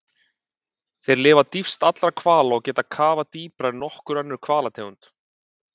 Þeir lifa dýpst allra hvala og geta kafað dýpra en nokkur önnur hvalategund.